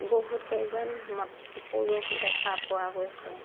বহুত কেইজন মট পুৰুষ দেখা পোৱা গৈছে।